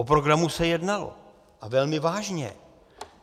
O programu se jednalo, a velmi vážně.